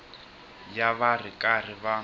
ya va ri karhi va